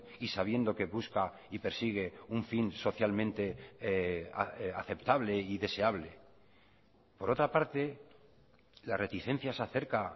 y sabiendo que busca y persigue un fin socialmente aceptable y deseable por otra parte las reticencias acerca